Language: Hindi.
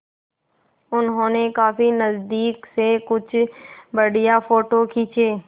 उन्होंने काफी नज़दीक से कुछ बढ़िया फ़ोटो खींचे